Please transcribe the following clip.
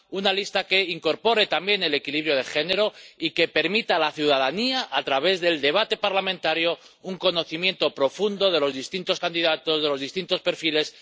una lista que incorpore también el equilibrio de género y que permita a la ciudadanía, a través del debate parlamentario, un conocimiento profundo de los distintos candidatos, de los distintos perfiles